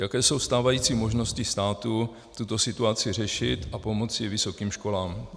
Jaké jsou stávající možnosti státu tuto situaci řešit a pomoci vysokým školám?